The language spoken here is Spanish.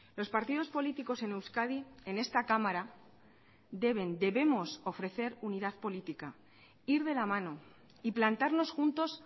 los partidos políticos en euskadi en esta cámara deben debemos ofrecer unidad política ir de la mano y plantarnos juntos